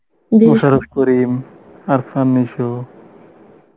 মুশারফ করিম, অরফান নিসো